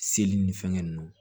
Seli ni fɛngɛ ninnu